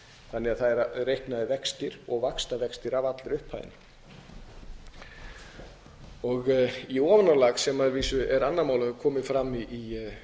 þannig að það eru reiknaðir vextir og vaxtavextir af allri upphæðinni í ofanálag sem að vísu er annað mál og hefur komið fram í